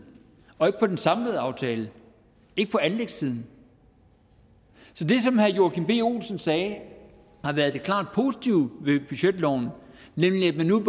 og ikke på den samlede aftale ikke på anlægssiden så det som herre joachim b olsen sagde har været det klart positive ved budgetloven nemlig at man nu